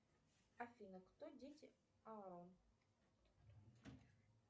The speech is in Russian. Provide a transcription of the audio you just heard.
афина кто дети арон